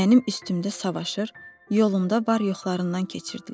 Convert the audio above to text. Mənim üstümdə savaşır, yolumda var-yoxlarından keçirdilər.